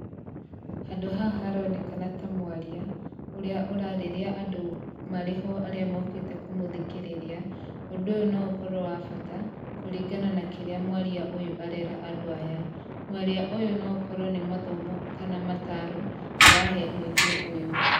Handũ haha haronekana ta mwaria, ũrĩa ũraarĩria andũ marĩho arĩa mokĩte kũmũthikĩrĩria, ũndũ ũyũ no ũkorwo wa bata kũringana na kĩrĩa mwaria ũyũ arera andũ aya. Mwaria ũyũ no korwa nĩ mathomo kana mataro arahe mũingĩ ũyũ.